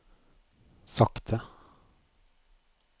sakte